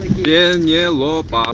пенелопа